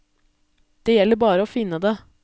Det gjelder bare å finne det.